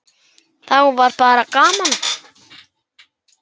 Þá var bara gaman.